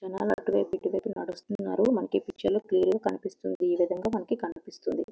జనాలు అటువైపు ఇటువైపు నడుస్తున్నారు.మనకి ఈ పిక్చర్ లో క్లియర్ గా కనిపిస్తుంది. మనకు కనిపిస్తుంది.